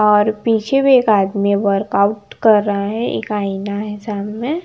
और पीछे भी एक आदमी वर्कआउट कर रहा है एक आईना है सामने।